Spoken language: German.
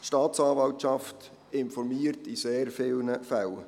Die Staatsanwaltschaft informiert in sehr vielen Fällen.